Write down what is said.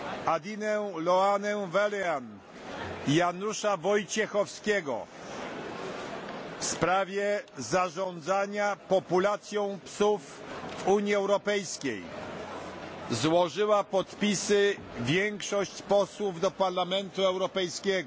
Adinę Ioanę Vălean i Janusza Wojciechowskiego w sprawie zarządzania populacją psów w Unii Europejskiej złożyła podpisy większość posłów do Parlamentu Europejskiego.